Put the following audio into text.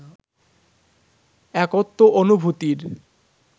একত্ব অনুভূতির